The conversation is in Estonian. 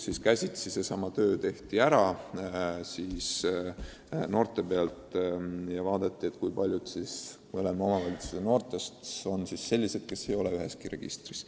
See töö tehti käsitsi ära: vaadati, kui paljud mõlema omavalitsuse noortest on sellised, kes ei ole üheski registris.